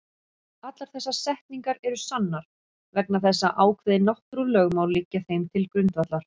Allar þessar setningar eru sannar vegna þess að ákveðin náttúrulögmál liggja þeim til grundvallar.